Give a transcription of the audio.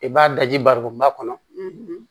I b'a daji barikonba kɔnɔ